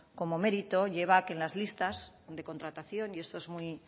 como mérito lleva a que en las listas de contratación y esto es muy